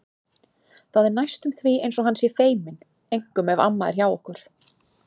Það er næstum því eins og hann sé feiminn, einkum ef amma er hjá okkur.